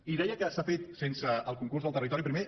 i deia que s’ha fet sense el concurs del territori primer